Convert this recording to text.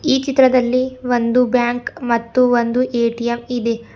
ಈ ಚಿತ್ರದಲ್ಲಿ ಒಂದು ಬ್ಯಾಂಕ್ ಮತ್ತು ಒಂದು ಎ_ಟಿ_ಎಮ್ ಇದೆ.